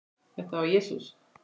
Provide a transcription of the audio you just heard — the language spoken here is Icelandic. Þetta var Jesús